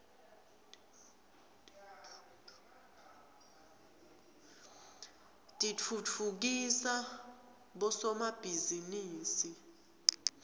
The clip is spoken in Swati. titfutfukisa bosomabhizinisi